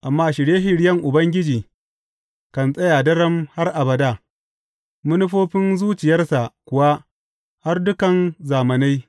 Amma shirye shiryen Ubangiji kan tsaya daram har abada, manufofin zuciyarsa kuwa har dukan zamanai.